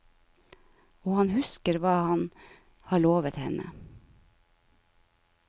Og han husker hva han har lovet henne.